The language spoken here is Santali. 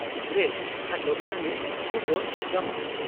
"ᱨᱮᱫ" (ᱠᱷᱟᱴᱚ ᱠᱟᱹᱦᱱᱤ) ᱪᱩᱵᱟᱹᱜ (ᱜᱟᱢᱟᱢ)